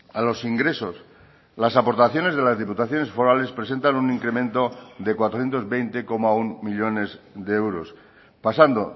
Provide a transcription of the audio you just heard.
a los ingresos las aportaciones de las diputaciones forales presentan un incremento de cuatrocientos veinte coma uno millónes de euros pasando